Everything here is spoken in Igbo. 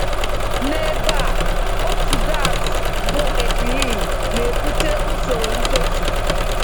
N’ebe a, otu gas, bụ ethylene, na-ebute usoro ntozu.